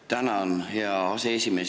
Tänan, hea aseesimees!